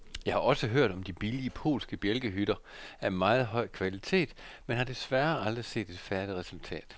Jeg har også hørt om de billige polske bjælkehytter af meget høj kvalitet, men har desværre aldrig set et færdigt resultat.